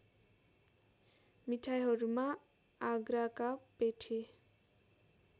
मिठाईहरुमा आगराका पेठे